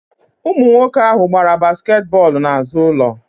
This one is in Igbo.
Ụmụ nwoke ahụ gbara basket bọlụ na azụ ụlọ